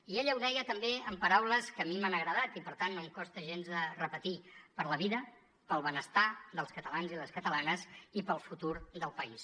i ella ho deia també amb paraules que a mi m’han agradat i per tant no em costa gens de repetir per la vida pel benestar dels catalans i les catalanes i per al futur del país